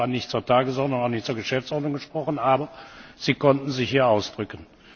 Sie haben zwar nicht zur Tagesordnung, auch nicht zur Geschäftsordnung gesprochen, aber Sie konnten sich hier ausdrücken.